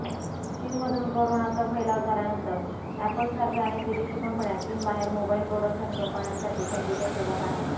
चीनमधून कोरोनाचा फैलाव झाल्यानंतर अॅप्पलसारख्या अनेक विदेशी कंपन्या चीनबाहेर मोबाईल प्रोडक्शन कंपन्यांसाठी संधीच्या शोधात आहेत